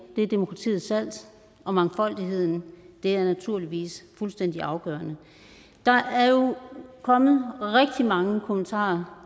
er demokratiets salt og mangfoldigheden er naturligvis fuldstændig afgørende der er jo kommet rigtig mange kommentarer